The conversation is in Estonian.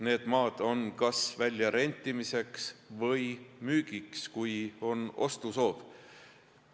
Need maad on kas väljarentimiseks või müügiks, kui on ostusoov.